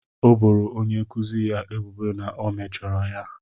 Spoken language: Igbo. O boro onye nkuzi ya ebubo na o mejọrọ ya.